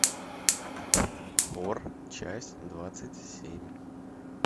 хор часть двадцать семь